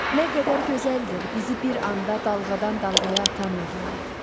Nə qədər gözəldir bizi bir anda dalğadan dalğaya atan nəğmələr.